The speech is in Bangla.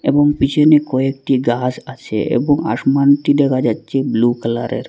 এবং পিছনে কয়েকটি গাছ আছে এবং আসমানটি দেখা যাচ্ছে ব্লু কালারের।